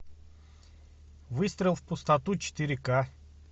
выстрел в пустоту четыре ка